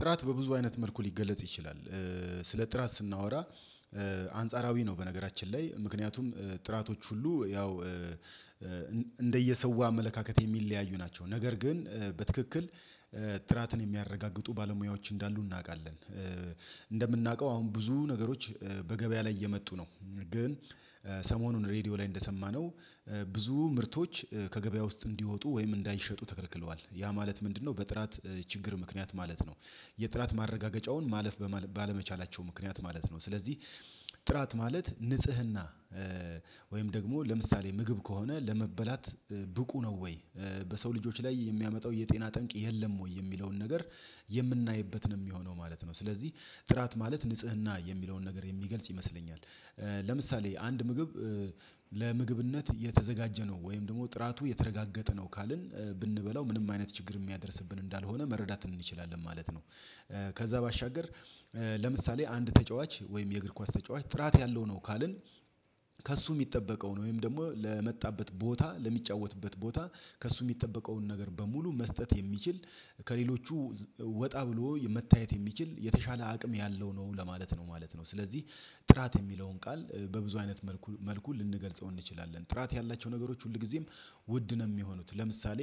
ጥራት በብዙ አይነት መልኩ ሊገለጽ ይችላል። ስለ ጥራት ስናወራ አንጻራዊ ነው በነገራችን ላይ ምክንያቱም ጥራቶች ሁሉ ያው እንደየሰው አመለካከት የሚለያዩ ናቸው። ነገር ግን በትክክል ጥራትን የሚያረጋግጡ ባለሙያዎች እንዳሉ እናውቃለን። እንደምናውቀው አሁን ብዙ ነገሮች በገበያ ላይ እየመጡ ነው ግን ሰሞኑን ሬድዮ ላይ እንደሰማነው ብዙ ምርቶች ከገበያ ውስጥ እንዲወጡ ወይም እንዳይሸጡ ተከልክለዋል ያ ማለት ምንድነው በጥራት ችግር ምክንያት ማለት ነው? የጥራት ማረጋገጫውን ማለፍ ባለመቻላቸው ምክንያት ማለት ነው። ስለዚህ ጥራት ማለት ንጽህና ወይም ደግሞ ለምሳሌ ምግብ ከሆነ ለመበላት ብቁ ነው ወይ በሰው ልጆች ላይ የሚያመጣው የጤና ጠንቅ የለም ወይ የሚለውን ነገር የምናይበት ነው የሚሆነው ማለት ነው። ስለዚህ ጥራት ማለት ንጽህና የሚለውን ነገር የሚገልጽ ይመስለኛል። ለምሳሌ አንድ ምግብ ለምግብነት የተዘጋጀ ነው ወይም ደግሞ ጥራቱ የተረጋገጠ ነው ካልን ብንበላው ምንም አይነት ችግር የሚያደርስብን እንዳልሆነ መረዳት እንችላለን ማለት ነው። ከዛ ባሻገር ለምሳሌ አንድ ተጫዋች ወይም የእግር ኳስ ተጫዋች ጥራት ያለው ነው ካልን ከእሱ የሚጠበቀው ነው ወይም ደግሞ ለመጣበት ቦታ ለሚጫወትበት ቦታ ከእሱ የሚጠበቀውን ነገር በሙሉ መስጠት የሚችል ከሌሎቹ ወጣ ብሎ መታየት የሚችል የተሻለ አቅም ያለው ነው ለማለት ነው ማለት ነው። ስለዚህ ጥራት የሚለውን ቃል በብዙ አይነት መልኩ ልንገልጸው እንችላለን። ጥራት ያላቸው ነገሮች ሁልጊዜም ውድ ነው የሚሆኑት ለምሳሌ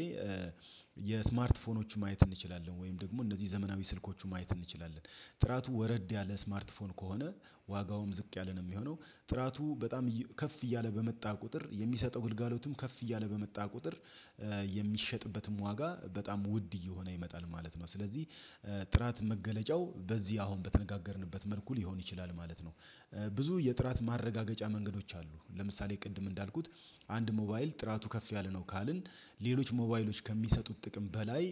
የስማርት ፎኖችን ማየት እንችላለን ወይም ደግሞ እነዚህ ዘመናዊ ስልኮቹን ማየት እንችላለን ጥራቱ ወረድ ያለ ስማርት ፎን ከሆነ ዋጋውም ዝቅ ያለ ነው የሚሆነው ጥራቱ በጣም ከፍ እያለ በመጣ ቁጥር የሚሰጠው ግልጋሎትም ከፍ እያለ በመጣ ቁጥር የሚሸጥበትም ዋጋ በጣም ውድ እየሆነ ይመጣል ማለት ነው። ስለዚህ ጥራት መገለጫው በዚህ አሁን በተነጋገርንበት መልኩ ሊሆን ይችላል ማለት ነው። ብዙ የጥራት ማረጋገጫ መንገዶች አሉ ለምሳሌ ቅድም እንዳልኩት አንድ ሞባይል ጥራቱ ከፍ ያለ ነው ካልን ሌሎች ሞባይሎች ከሚሰጡት ጥቅም በላይ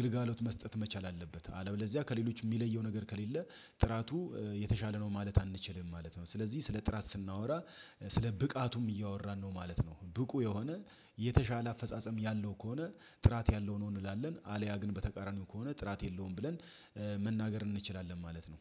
ግልጋሎት መስጠት መቻል አለበት። አለበለዚያ ከሌሎች የሚለየው ነገር ከሌለ ጥራቱ የተሻለ ነው ማለት አንችልም ማለት ነው። ስለዚህ ስለ ጥራት ስናወራ ስለ ብቃቱም እያወራን ነው ማለት ነው። ብቁ የሆነ የተሻለ አፈጻጸም ያለው ከሆነ ጥራት ያለው ነው እንላለን። አልያ ግን በተቃራኒው ከሆነ ጥራት የለውም ብለን መናገር እንችላለን ማለት ነው